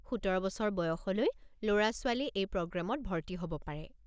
১৭ বছৰ বয়সলৈ ল'ৰা-ছোৱালী এই প্ৰগ্ৰামত ভৰ্তি হ'ব পাৰে।